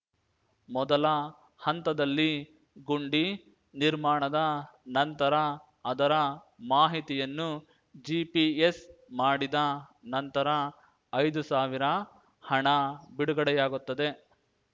ಮೊದಲ ಹಂತದಲ್ಲಿ ಗುಂಡಿ ನಿರ್ಮಾಣದ ನಂತರ ಅದರ ಮಾಹಿತಿಯನ್ನು ಜಿಪಿಎಸ್‌ ಮಾಡಿದ ನಂತರ ಐದು ಸಾವಿರ ಹಣ ಬಿಡುಗಡೆಯಾಗುತ್ತದೆ